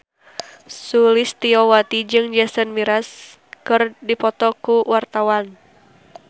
Sulistyowati jeung Jason Mraz keur dipoto ku wartawan